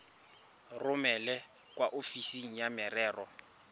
romele kwa ofising ya merero